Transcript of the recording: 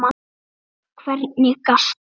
Og hvernig gastu?